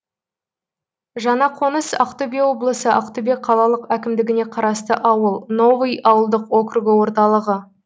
жаңақоныс ақтөбе облысы ақтөбе қалалық әкімдігіне қарасты ауыл новый ауылдық округі орталығы